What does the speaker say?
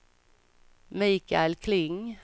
Mikael Kling